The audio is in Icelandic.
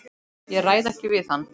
Ég ræð ekki við hann!